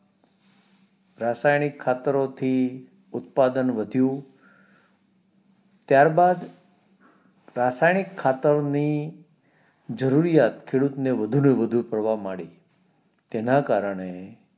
રાસાયણિકણ ખતરો થી ઉત્પાદન વધ્યું ત્યારબાદ રાસાયણિક ખાતરોની જરૂરિયાત ખેડૂત ને વધુ ને વધુ થવા માડી તેના કારણે